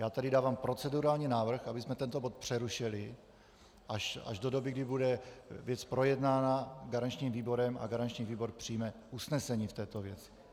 Já tedy dávám procedurální návrh, abychom tento bod přerušili až do doby, kdy bude věc projednána garančním výborem a garanční výbor přijme usnesení v této věci.